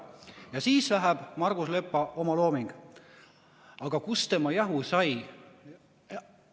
Ja siis läheb edasi Margus Lepa omalooming: "Aga kust tema jahu sai?